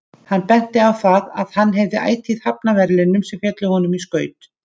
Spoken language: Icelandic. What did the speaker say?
Hann benti á það að hann hafði ætíð hafnað verðlaunum sem féllu honum í skaut.